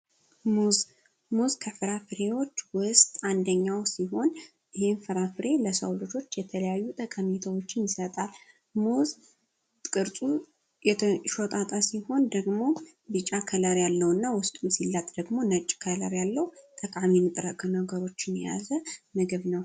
ሙዝ ሙዝ ካፍራፍሬ አይነቶች ውስጥ አንደኛው ሲሆን ፍራፍሬ ለሰው ልጆች የተለያዩ ጠቀሜታዎችን ይሰጣል ሲሆን ደግሞ የጫላ ያለውና ውስጥ ሲለት ደግሞ ነገሮችን የያዘ ነገር ነው።